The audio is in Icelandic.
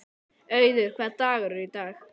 Auður, hvaða dagur er í dag?